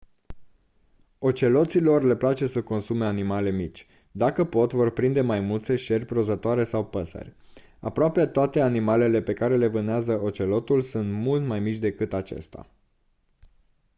oceloților le place să consume animale mici dacă pot vor prinde maimuțe șerpi rozătoare sau păsări aproape toate animalele pe care le vânează ocelotul sunt mult mai mici decât acesta